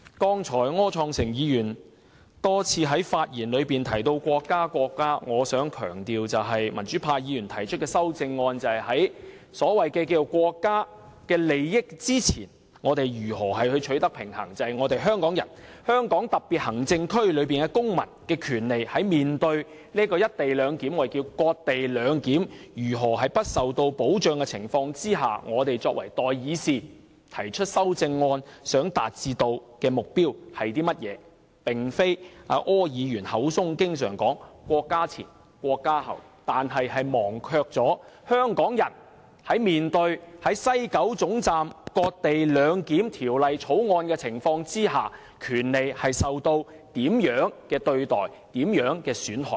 柯創盛議員剛才多次在發言中提及國家、國家，我想強調，民主派議員提出的修正案是想與所謂國家利益取得平衡，即香港特別行政區公民的權利在面對"一地兩檢"——我們稱為"割地兩檢"——在香港市民不受保障的情況下，我們作為代議士提出修正案想達致的目標，而並非像柯議員般口中經常"國家"前、"國家"後"，但卻忘記了香港人在面對在西九總站"割地兩檢"和《條例草案》的情況下，權利是受到怎樣的對待和損害。